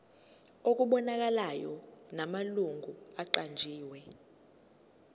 okubonakalayo namalungu aqanjiwe